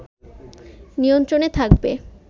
নিয়ন্ত্রণে থাকবে